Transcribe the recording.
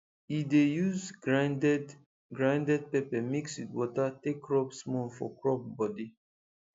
e dey use grinded grinded pepper mix with water take rub small for crop body